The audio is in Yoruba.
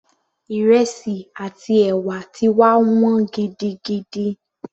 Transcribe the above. Ìrẹsì àti ẹ̀wà ti wá wọ́n gidigidi